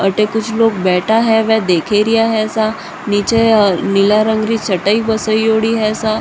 अटे कुछ लोग बैठा है में देखेरिया है सा नीच नीला रंग री चटाई बिछौड़ी है सा।